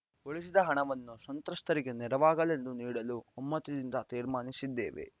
ಉಳಿಸಿದ ಹಣವನ್ನು ಸಂತ್ರಸ್ಥರಿಗೆ ನೆರವಾಗಲೆಂದು ನೀಡಲು ಒಮ್ಮತದಿಂದ ತೀರ್ಮಾನಿಸಿದ್ದೇವೆ